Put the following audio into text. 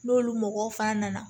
N'olu mɔgɔw fana nana